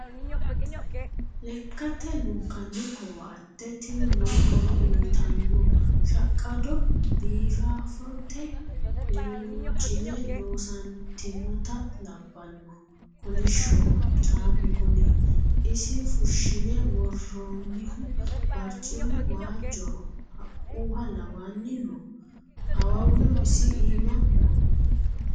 Lekkate lunkanni koatte tini lowo horo uyittano shaqqado biifafote hocuni loossatinotta labbano kolishshoho caamu kuni isi fushine woronihu barcimu waajoho haqquha lawani no awawuno isi iima no.